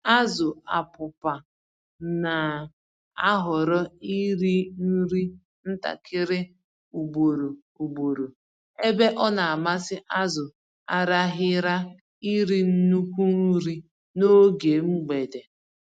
Azụ Apụpa n'ahọrọ iri-nri ntakịrị ugboro ugboro, ebe ọnamasị azụ Araghịra iri nnukwu nri n'oge mgbede.